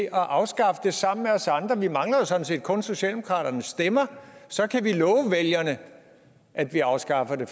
at afskaffe det sammen med os andre vi mangler jo sådan set kun socialdemokratiets stemmer så kan vi love vælgerne at vi afskaffer det